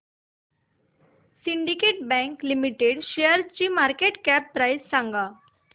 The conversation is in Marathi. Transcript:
सिंडीकेट बँक लिमिटेड शेअरची मार्केट कॅप प्राइस सांगा